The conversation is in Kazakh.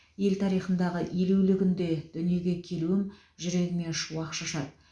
ел тарихындағы елеулі күнде дүниеге келуім жүрегіме шуақ шашады